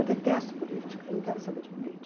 Eu detesto política, não quero saber de política.